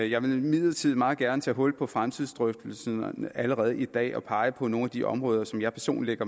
jeg vil imidlertid meget gerne tage hul på fremtidsdrøftelsen allerede i dag og pege på nogle af de områder som jeg personligt